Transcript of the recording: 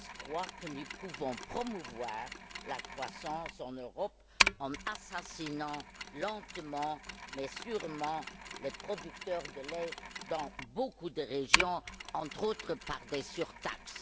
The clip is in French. Deß croit que nous pouvons promouvoir la croissance en Europe en assassinant lentement mais sûrement les producteurs de lait dans beaucoup de régions, entre autres par des surtaxes?